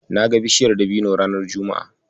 Na ga bishaiyar dabino ranar juma'a.